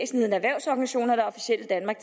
officielle danmark